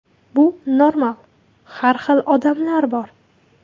Bu normal, har xil odamlar bor.